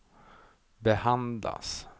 behandlas